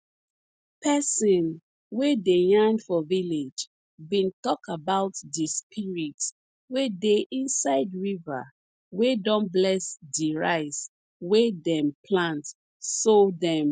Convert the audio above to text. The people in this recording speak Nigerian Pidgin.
person wey dey yarn for village bin tok about di spirit wey dey inside river wey don bless di rice wey dem plant so dem